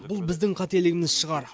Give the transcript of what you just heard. бұл біздің қателігіміз шығар